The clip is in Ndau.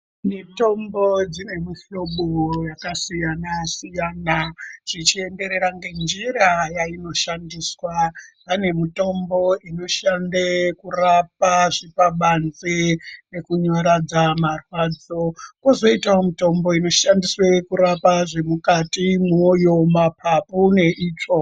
Mitombo dzine muhloba yakasiyana-siyana zvichienderera ngenjira yainoshandiswa. Pane mitombo inoshande kurape zvipabanze nekunyaradza marwadzo. Kozoita kozoitavo mitombo inoshandiswe kurape zvemukati mwoyo, mapapu neitsvo.